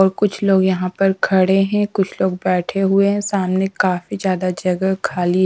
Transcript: और कुछ लोग यहाँ पर खड़े हैं कुछ लोग बैठे हुए हैं सामने काफी ज्यादा जगह खाली--